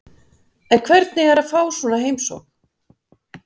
En hvernig er að fá svona heimsókn?